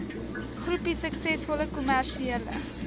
groepie suksesvolle kommersiële